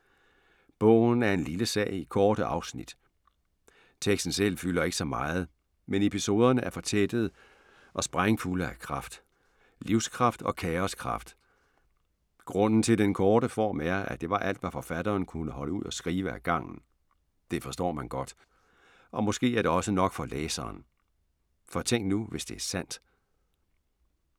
Bogen er en lille sag i korte afsnit. Teksten selv fylder ikke så meget, men episoderne er fortættede og sprængfulde af kraft. Livskraft og kaoskraft. Grunden til den korte form er, at det var alt, hvad forfatteren kunne holde ud at skrive ad gangen. Det forstår man godt. Og måske er det også nok for læseren. For tænk nu, hvis det er sandt!